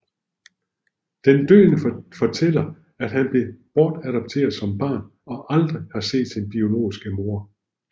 Den døende fortæller at han blev bortadopteret som barn og aldrig har set sin biologiske mor